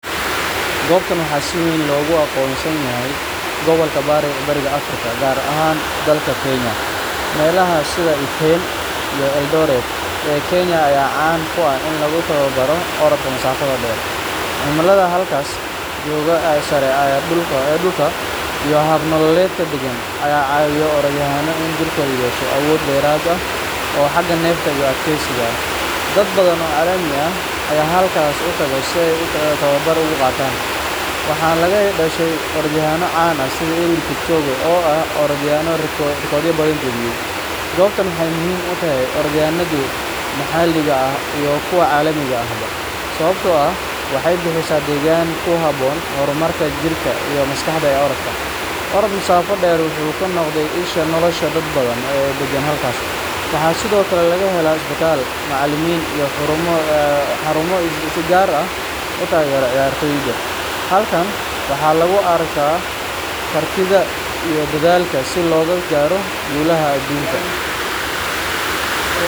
Gobtan waxa si weyn logu aqonsan yahay gobalka bariga Afrika gar ahan dalka Kenya, melaha sida iten iyo eldoret ee Kenya aya caan ku ah in lugu taba baaro orodka masafada dheer, cimilida halkaas jogo saare ee dhulkaas iyo hab nololedka degan aya caabiya orod yahana inu jirka uu yesho awood dheerad ah oo xaga nefsi u adkeysiga ah, dab badan oo caalami ah aya halkan utago si ay tababar u qataan ,waxa laga helaa orod yahano caan ah sidi kipchoge ee ah orod yahano rikod badan jebiye, gobtan waxay muhiim utahay orod yahana kuwa maxaliga ah iyo kuwa caalamigi ah sababto ah waxay bixisaa deeggan kuhabon horumarka jirka iyo maskaxda qofka, orod masaafa dheer wuxu kunoqde isha nolosha dad badan oo deegan gobtaas, waxa sidokale laga helaa isbital, macaalimin iyo xaarumo si gaar ah utaagero ciyartoyda, halkan waxaa lugu arkaa kartida iyo dadalka si loga gaaro guulaha gobta